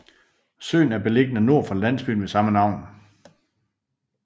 Søen er beliggende nord for landsbyen ved samme navn